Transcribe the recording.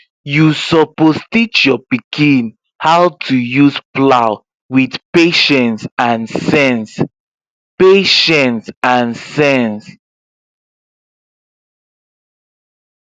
you suppose teach your pikin how to use plow with patience and sense patience and sense